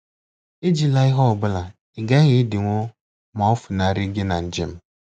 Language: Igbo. Ejila ihe ọ bụla ị gaghị edinwu ma o funarị gị na njem.